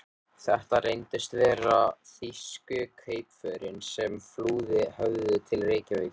Þetta reyndust vera þýsku kaupförin, sem flúið höfðu til Reykjavíkur.